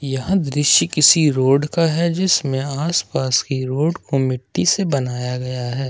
यह दृश्य किसी रोड का है जिसमें आसपास की रोड को मिट्टी से बनाया गया है।